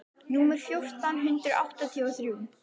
númer fjórtán hundruð áttatíu og þrjú.